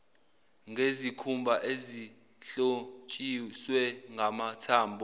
ngezikhumba ezihlotshiswe ngamathambo